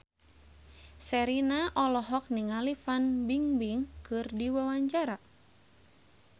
Sherina olohok ningali Fan Bingbing keur diwawancara